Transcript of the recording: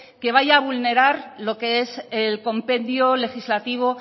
que vaya a vulnerar lo que es el compendio legislativo